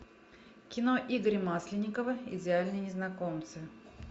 кино игоря масленникова идеальные незнакомцы